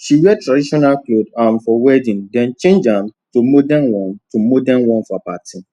she wear traditional cloth um for wedding then change um to modern one to modern one for party